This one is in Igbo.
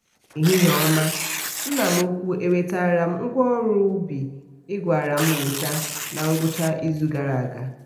ehihie ọma nna m ukwu e wetara m ngwaọrụ ọrụ ubi ị gwara m weta na ngwụcha izu gara aga.